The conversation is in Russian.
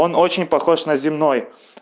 он очень похож на земной